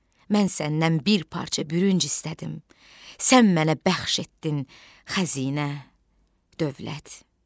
Mən səndən bir parça bürünc istədim, sən mənə bəxş etdin xəzinə, dövlət.